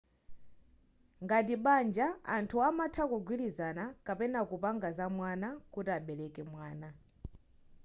ngati banja anthu amatha kugwilizana kapena kupanga zamwana kuti abereke mwana